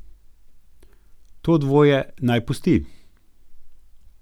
To dvoje naj pusti.